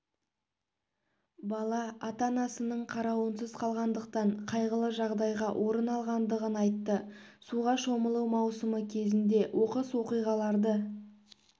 бала ата-анасының қарауынсыз қалғандықтан қайғылы жағдайға орын алғандығын айтты суға шомылу маусымы кезінде оқыс оқиғаларды